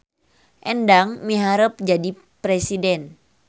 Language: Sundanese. Endang miharep jadi presiden